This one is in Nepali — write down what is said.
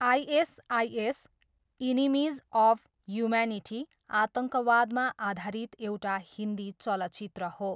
आइएसआइएस, एनिमिज अफ ह्युम्यानिटी आतङ्कवादमा आधारित एउटा हिन्दी चलचित्र हो।